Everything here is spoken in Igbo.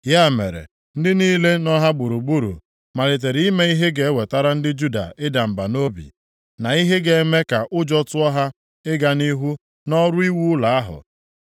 Ya mere ndị niile nọ ha gburugburu malitere ime ihe ga-ewetara ndị Juda ịda mba nʼobi, na ihe ga-eme ka ụjọ tụọ ha ịga nʼihu nʼọrụ iwu ụlọ ahụ.